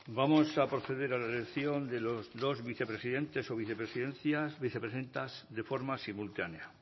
vamos a proceder a la elección de los dos vicepresidentes o vicepresidentas de forma simultánea